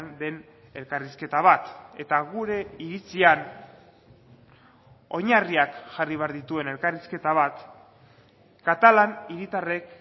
den elkarrizketa bat eta gure iritzian oinarriak jarri behar dituen elkarrizketa bat katalan hiritarrek